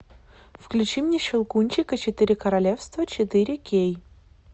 включи мне щелкунчик и четыре королевства четыре кей